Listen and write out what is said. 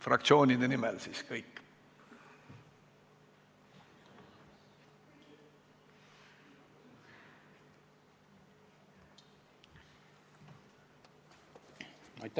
Fraktsioonide nimel on kõik kõned.